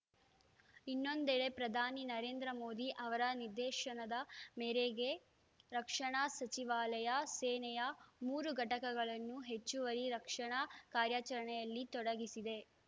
ಇನ್ನೊಂದೆಡೆ ಪ್ರಧಾನಿ ನರೇಂದ್ರ ಮೋದಿ ಅವರ ನಿರ್ದೇಶನದ ಮೇರೆಗೆ ರಕ್ಷಣಾ ಸಚಿವಾಲಯ ಸೇನೆಯ ಮೂರೂ ಘಟಕಗಳನ್ನು ಹೆಚ್ಚುವರಿ ರಕ್ಷಣಾ ಕಾರ್ಯಾಚರಣೆಯಲ್ಲಿ ತೊಡಗಿಸಿದೆ